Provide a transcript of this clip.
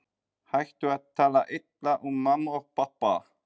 Hættu að tala illa um mömmu og pabba!